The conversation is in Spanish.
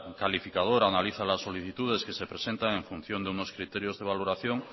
calificador analiza las solicitudes que se presentan en función de unos criterios de valoración